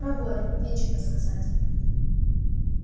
проворен нечего сказать